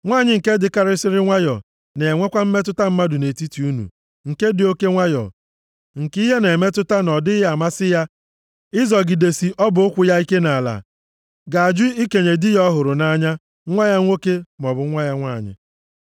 Nwanyị nke dịkarịsịrị nwayọọ na-enwekwa mmetụta mmadụ nʼetiti unu, nke dị oke nwayọọ, nke ihe na-emetụta na ọ dịghị amasị ya ịzọgịdesị ọbụ ụkwụ ya ike nʼala, ga-ajụ ikenye di ya ọ hụrụ nʼanya, nwa ya nwoke maọbụ nwa ya nwanyị,